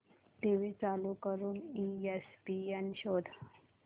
TV चालू करून ESPN शोध